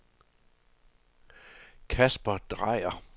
Kasper Drejer